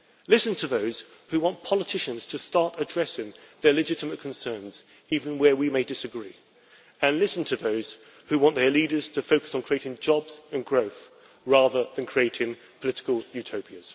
Listen to those who want politicians to start addressing their legitimate concerns even where we may disagree, and listen to those who want their leaders to focus on creating jobs and growth, rather than creating political utopias.